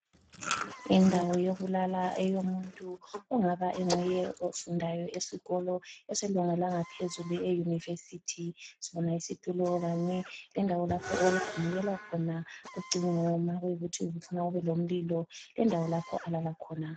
Indawo yokulala eyomuntu ongaba enguye ofundayo esikolo eselunga langaphezulu eYunivesi. Sibona isitulo kanye lendawo lapho okugxumukelwa khona ucingo ma kuyikuthi ufuna libe lomlilo lendawo lapho alala khona .